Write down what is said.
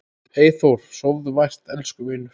Eyþór, sofðu vært elsku vinur.